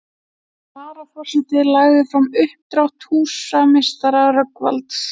Varaforseti lagði fram uppdrátt húsameistara Rögnvalds